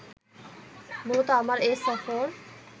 মূলত আমার এ সফর